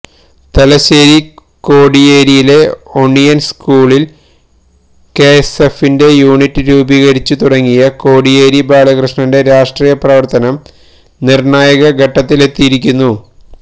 തലശ്ശേരി കോടിയേരിയിലെ ഓണിയന് സ്കൂളില് കെഎസ്എഫിന്റെ യൂണിറ്റ് രൂപികരിച്ചു തുടങ്ങിയ കോടിയേരി ബാലകൃഷ്ണന്റെ രാഷ്ട്രീയ പ്രവര്ത്തനം നിര്ണായക ഘട്ടത്തിലെത്തിയിരിക്കുന്നു